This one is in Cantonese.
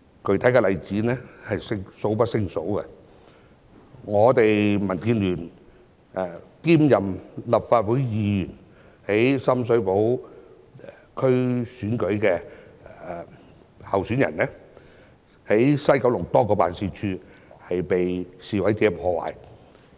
具體的示威者暴力例子多不勝數，民建聯一位立法會議員兼深水涉區議員的候選人表示，九龍西多個辦事處被示威者破壞，